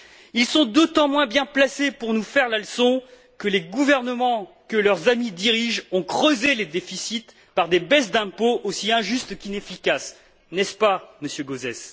Ils sont d'autant moins bien placés pour nous faire la leçon que les gouvernements que leurs amis dirigent ont creusé les déficits par des baisses d'impôts aussi injustes qu'inefficaces, n'est ce pas, Monsieur Gauzès?